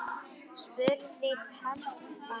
spurði telpan.